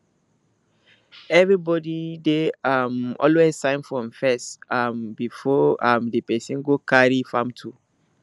every body dey um always sign form first um before um di person go carry farm tool